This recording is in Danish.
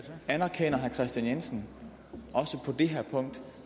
anerkender herre kristian jensen også på det her punkt